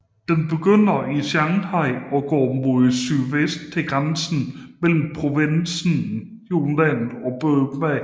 Den begynder i Shanghai og går mod sydvest til grænsen mellem provinsen Yunnan og Burma